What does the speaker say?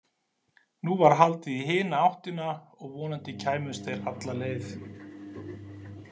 Nú var haldið í hina áttina, og vonandi kæmust þeir alla leið.